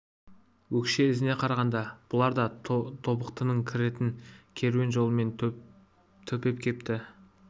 өкше ізіне қарағанда бұлар да тобықтының кіретін керуен жолымен төпеп кепті